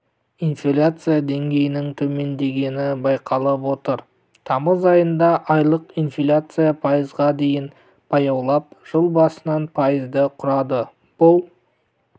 инфляция деңгейінің төмендегенібайқалып отыр тамыз айында айлық инфляция пайызға дейін баяулап жыл басынан пайызды құрады бұл